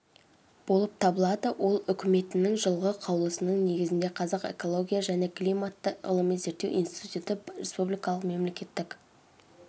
болып табылады ол үкіметінің жылғы қаулысының негізінде қазақ экология және климатты ғылыми-зерттеу институты республикалық мемлекеттік